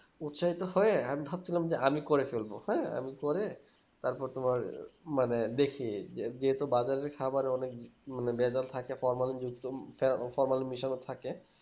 উৎসাহিত হয়ে আমি ভাবছিলাম যে আমি করে ফেলব হ্যাঁ আমি করে তারপর তোমার মানে বেশি যেসব বাজারে খাবারে অনেক মানে ভেজাল থেকে মিশানো থাকে